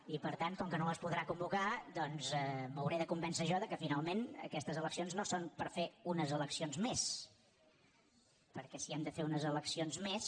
i per tant com que no les podrà convocar doncs m’hau·ré de convèncer jo que finalment aquestes eleccions no són per fer unes eleccions més perquè si hem de fer unes eleccions més